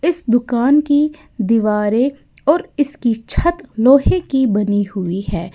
इस दुकान की दीवारे और इसकी छत लोहे की बनी हुई है।